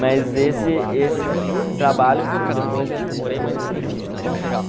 Mas esse esse trabalho, depois eu aprimorei, mas enfim, vamos chegar lá.